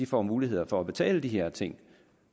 får mulighed for at betale de her ting